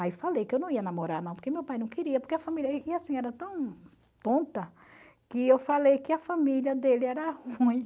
Aí falei que eu não ia namorar não, porque meu pai não queria, porque a família e assim era tão tonta, que eu falei que a família dele era ruim.